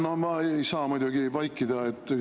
No ma ei saa muidugi vaikida.